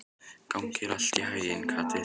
Gangi þér allt í haginn, Kaktus.